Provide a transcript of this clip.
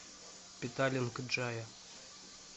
петалинг джая